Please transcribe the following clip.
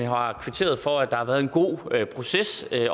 har kvitteret for at der har været en god proces